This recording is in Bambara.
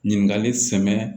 Ɲininkali sɛmɛ